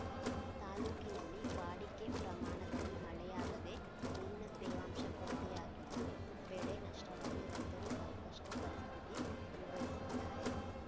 ತಾಲೂಕಿನಲ್ಲಿ ವಾಡಿಕೆ ಪ್ರಮಾಣದಲ್ಲಿ ಮಳೆಯಾಗದೆ ನೀರಿನ ತೇವಾಂಶ ಕೊರತೆಯಾಗಿದ್ದು ಬೆಳೆ ನಷ್ಟವಾಗಿ ರೈತರು ಸಂಕಷ್ಟಪರಿಸ್ಥಿತಿ ಅನುಭಸುತ್ತಿದ್ದಾರೆ